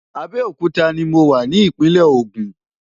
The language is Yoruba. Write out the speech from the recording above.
Abeokuta ni mo wà ní ìpínlẹ̀ ogun.